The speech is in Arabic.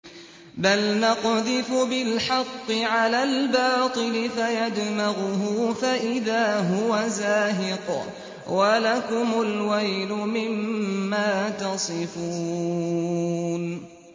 بَلْ نَقْذِفُ بِالْحَقِّ عَلَى الْبَاطِلِ فَيَدْمَغُهُ فَإِذَا هُوَ زَاهِقٌ ۚ وَلَكُمُ الْوَيْلُ مِمَّا تَصِفُونَ